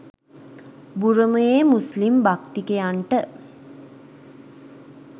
බුරුමයේ මුස්ලිම් භක්තිකයන්ට